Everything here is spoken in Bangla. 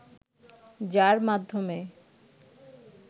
যার মাধ্যমে